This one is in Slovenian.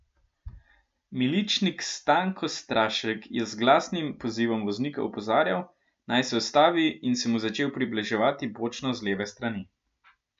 Miličnik Stanko Strašek je z glasnim pozivom voznika opozarjal, naj se ustavi in se mu začel približevati bočno z leve strani.